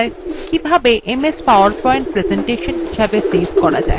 কিভাবে ms powerpoint presentation হিসাবে save করা যায়